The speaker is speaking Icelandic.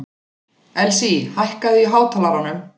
Elsí, hækkaðu í hátalaranum.